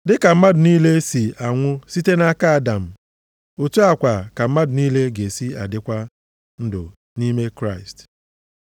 Dịka mmadụ niile si anwụ site nʼaka Adam, otu a kwa ka mmadụ niile ga-esi dịkwa ndụ nʼime Kraịst.